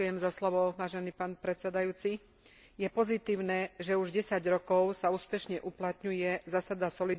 Je pozitívne, že už desať rokov sa úspešne uplatňuje zásada solidarity prostredníctvom Fondu solidarity.